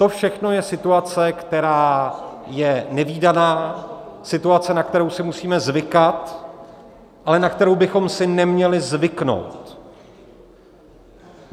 To všechno je situace, která je nevídaná, situace, na kterou si musíme zvykat, ale na kterou bychom si neměli zvyknout.